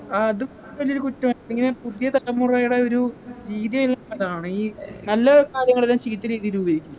അത് പിന്നൊരു കുറ്റം അപ്പോ ഇങ്ങനെ പുതിയ തലമുറയുടെ ഒരു രീതി ആണ് ഈ നല്ല കാര്യങ്ങളെല്ലാം ചീത്ത രീതില് ഉപയോഗിക്കും